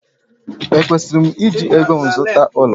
Ekwesịrị m iji ego m zụta ụlọ?